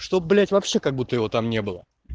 чтоб блять вообще как будто его там не было